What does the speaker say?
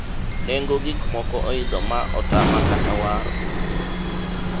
nengo gikmoko oidho ma otama kata waro